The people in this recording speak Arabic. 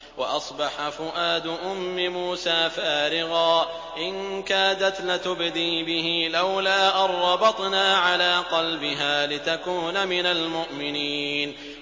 وَأَصْبَحَ فُؤَادُ أُمِّ مُوسَىٰ فَارِغًا ۖ إِن كَادَتْ لَتُبْدِي بِهِ لَوْلَا أَن رَّبَطْنَا عَلَىٰ قَلْبِهَا لِتَكُونَ مِنَ الْمُؤْمِنِينَ